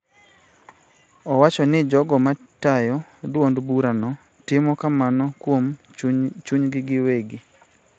Owacho ni jogo ma tayo duond bura no timo kamano kuom chunygi giwegi .